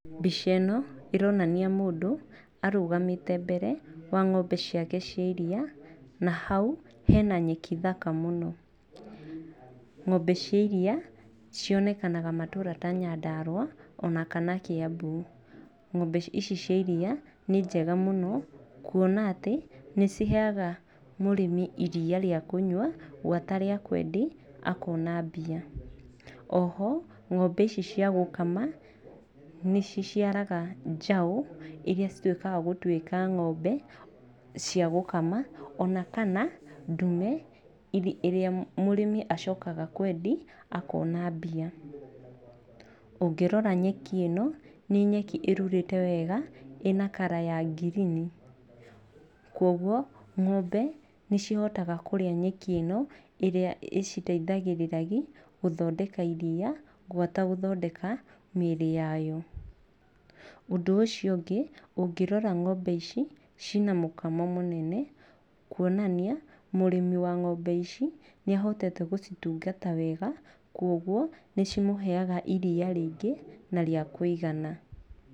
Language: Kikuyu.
Mbica ĩno ĩronania mũndũ arũgamĩte mbere wa ng'ombe ciake cia iria, na hau hena nyeki thaka mũno, ng'ombe cia iria cionekanaga matũra ta Nyandarua, ona kana Kĩambu, ng'ombe ici cia iria nĩnjega mũno kuona atĩ nĩ ciheyaga mũrĩmi iria rĩa kũnywa, gwata rĩa kwendia akona mbia, oho ngombe ici cia gũkama nĩ ciciaraga njaũ iria cicuĩkaga gũtuĩka ng'ombe cia gũkama onakana ndume ĩrĩa mũrĩmi acokaga kwendi akona mbia, ũngĩrora nyeki ĩno nĩ nyeki ĩrurĩte wega, ĩna colour ya ngirini, kwoguo ngombe nĩ cihotaga kũrĩa nyeki ĩno, ĩrĩa ĩciteithagĩrĩrithagi gũthondeka iria, gwata gũthondeka mĩrĩ yayo, ũndũ ũcio ũngĩ ũngĩrora ng'ombe ici, cina mũkamo mũnene, kuonania mũrĩmi wa ng'ombe ici nĩ ahotete gũcitungata wega, kwoguo nĩ cimũheyaga iria rĩngĩ na rĩa kũigana.